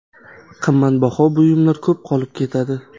Qimmatbaho buyumlar ko‘p qolib ketadi.